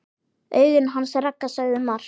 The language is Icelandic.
Augun hans Ragga sögðu margt.